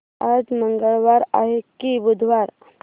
आज मंगळवार आहे की बुधवार